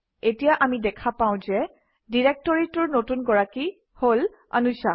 এতিয়া আমি দেখা পাওঁ যে ডিৰেক্টৰীটোৰ নতুন গৰাকী হল anusha